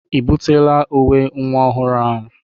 E butela uwe nwa ọhụrụ ahụ?